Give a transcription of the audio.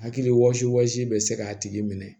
Hakilisi bɛ se k'a tigi minɛ